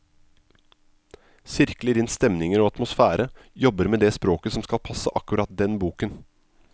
Sirkler inn stemninger og atmosfære, jobber med det språket som skal passe akkurat den boken.